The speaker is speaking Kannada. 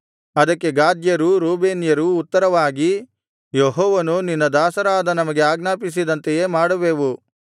ಅದಕ್ಕೆ ಗಾದ್ಯರೂ ರೂಬೇನ್ಯರೂ ಉತ್ತರವಾಗಿ ಯೆಹೋವನು ನಿನ್ನ ದಾಸರಾದ ನಮಗೆ ಆಜ್ಞಾಪಿಸಿದಂತೆಯೇ ಮಾಡುವೆವು